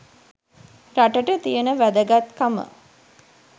රටට තියෙන වැදගත් කම.